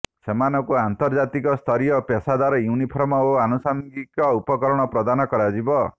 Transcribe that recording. ସେମାନଙ୍କୁ ଆନ୍ତର୍ଜାତିକ ସ୍ତରୀୟ ପେଶାଦାର ୟୁନିଫର୍ମ ଓ ଆନୁଷଙ୍ଗିକ ଉପକରଣ ପ୍ରଦାନ କରାଯିବ